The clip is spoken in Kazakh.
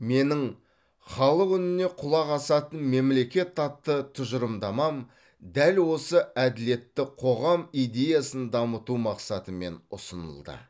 менің халық үніне құлақ асатын мемлекет атты тұжырымдамам дәл осы әділетті қоғам идеясын дамыту мақсатымен ұсынылды